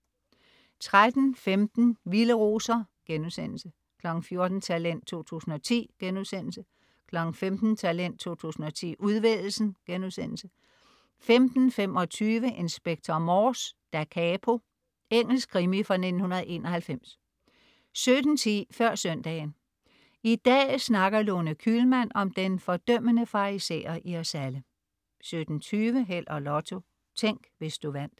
13.15 Vilde roser* 14.00 Talent 2010* 15.00 Talent 2010, udvælgelsen* 15.25 Inspector Morse: Da capo. Engelsk krimi fra 1991 17.10 Før søndagen. I dag snakker Lone Kühlmann om den fordømmende farisæer i os alle 17.20 Held og Lotto. Tænk, hvis du vandt